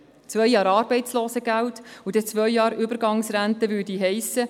Zwei Jahre Arbeitslosengeld und dann zwei Jahre Übergangsrente würde heissen: